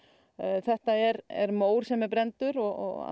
þetta er er mór sem er brenndur og